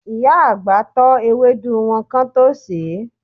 Ìyá àgbà tọ́ ewédú wọn kán tó sèé.